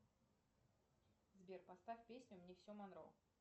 сбер поставь песню мне все монро